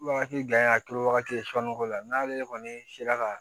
Wagati jan a turu wagati la n'ale kɔni sera ka